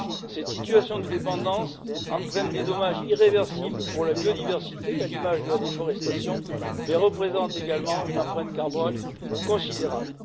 Cette situation de dépendance entraîne des dommages irréversibles pour la biodiversité, à l'image de la déforestation, mais représente également une empreinte carbone considérable.